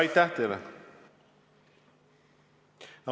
Aitäh teile!